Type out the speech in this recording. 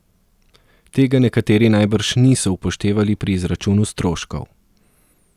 Tega nekateri najbrž niso upoštevali pri izračunu stroškov.